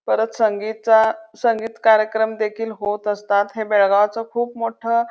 परत संगीतचा संगीत कार्यक्रम देखील होत असतात हे बेळगावचं खूप मोठं--